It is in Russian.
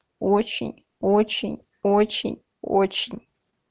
очень очень очень очень